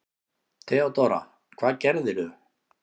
THEODÓRA: Hvað gerðirðu?